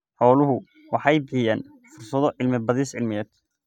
Xooluhu waxay bixiyaan fursado cilmi-baadhis cilmiyeed.